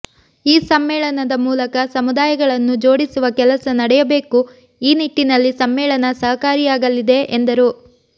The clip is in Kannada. ಈ ಸಮ್ಮೇಳನದ ಮೂಲಕ ಸಮುದಾಯಗಳನ್ನು ಜೋಡಿಸುವ ಕೆಲಸ ನಡೆಯಬೇಕು ಈ ನಿಟ್ಟಿನಲ್ಲಿ ಸಮ್ಮೇಳನ ಸಹಕಾರಿಯಾಗಲಿ ಎಂದರು